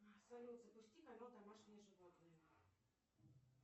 салют запусти канал домашние животные